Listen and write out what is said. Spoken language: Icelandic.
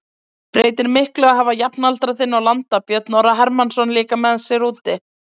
Breytir miklu að hafa jafnaldra þinn og landa Björn Orra Hermannsson líka með sér úti?